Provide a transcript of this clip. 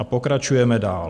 A pokračujeme dál.